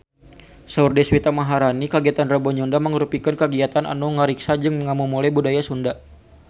Saur Deswita Maharani kagiatan Rebo Nyunda mangrupikeun kagiatan anu ngariksa jeung ngamumule budaya Sunda